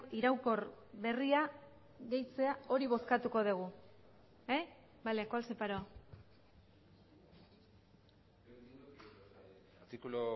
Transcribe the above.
iraunkor berria gehitzea hori bozkatuko dugu vale cuál separo artículo